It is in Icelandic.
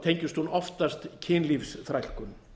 tengist hún oftast kynlífsþrælkun